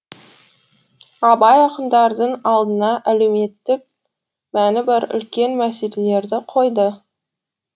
абай ақындардың алдына әлеуметтік мәні бар үлкен мәселелерді қойды